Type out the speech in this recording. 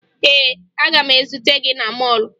Ee, aga m ezute gị na mọọlụ